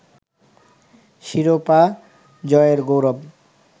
শিরোপা জয়ের গৌরব